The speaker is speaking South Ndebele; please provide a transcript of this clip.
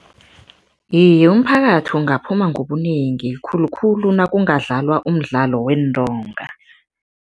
Iye, umphakathi ungaphuma ngobunengi, khulukhulu nakungadlalwa umdlalo weentonga.